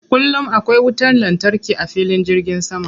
Kullum akwai wutar lantarki a filin jirgin sama.